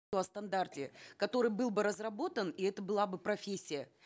о стандарте который был бы разработан и это была бы профессия